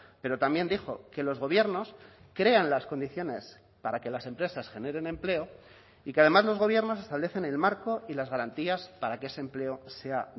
pero también dijo que los gobiernos crean las condiciones para que las empresas generen empleo y que además los gobiernos establecen el marco y las garantías para que ese empleo sea